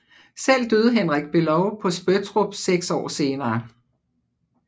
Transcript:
Selv døde Henrik Below på Spøttrup 6 år senere